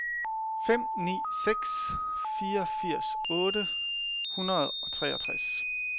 fem ni seks fire firs otte hundrede og treogtres